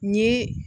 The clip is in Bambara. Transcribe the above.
N ye